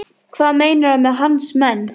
Hvað meinarðu með hans menn?